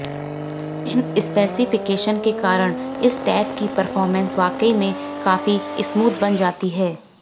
इन specification के कारण इस टैब की परफॉर्मेंस वाकई में काफी स्मूद बन जाती है